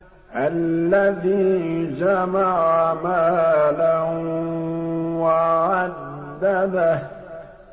الَّذِي جَمَعَ مَالًا وَعَدَّدَهُ